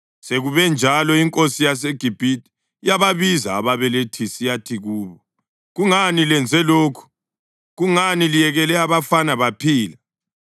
Sekube njalo, inkosi yaseGibhithe yababiza ababelethisi yathi kubo, “Kungani lenze lokhu? Kungani liyekele abafana baphila?”